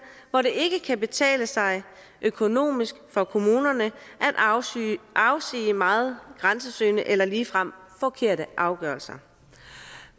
hvor det ikke kan betale sig økonomisk for kommunerne at afsige meget grænsesøgende eller ligefrem forkerte afgørelser